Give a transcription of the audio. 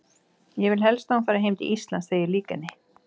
Ég vil helst að hún fari til Íslands þegar ég lýk henni.